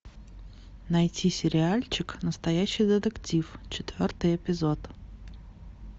найти сериальчик настоящий детектив четвертый эпизод